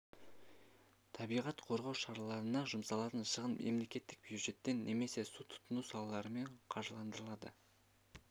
табиғат қорғау шараларына жұмсалатын шығын мемлекеттік бюджеттен немесе су тұтыну салаларымен қаржыландырылады